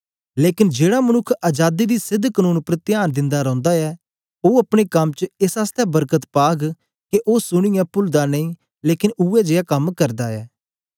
लेकन जेड़ा मनुक्ख अजादी दी सेध कनून उपर त्यान दिन्दा रौंदा ऐ ओ अपने कम च एस आसतै वरकत पाग के ओ सुनीयै पुलदा नेई लेकन उवै जियां गै कम करदा ऐ